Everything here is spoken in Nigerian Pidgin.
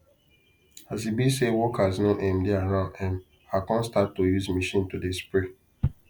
as e be say workers no um dey around um i come start to use machine to dey spray